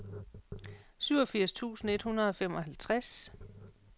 syvogfirs tusind et hundrede og femoghalvtreds